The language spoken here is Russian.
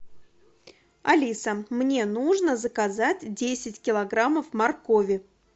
алиса мне нужно заказать десять килограммов моркови